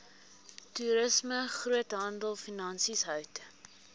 toerisme groothandelfinansies hout